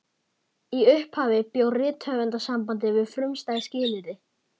Í upphafi bjó Rithöfundasambandið við frumstæð skilyrði.